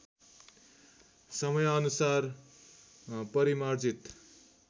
समयानुसार परिमार्जित